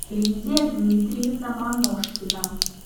лидия дмитриевна маношкина